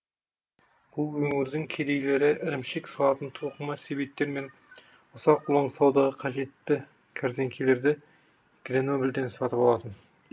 бұл өңірдің кедейлері ірімшік салатын тоқыма себеттер мен ұсақ ұлаң саудаға қажетті кәрзеңкелерді гренобльден сатып алатын